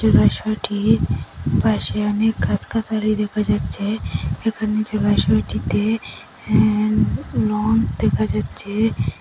জলাশয়টির পাশে অনেক গাছগাছালি দেখা যাচ্ছে এখানে জলাশয়টিতে হ্যা লঞ্চ দেখা যাচ্ছে।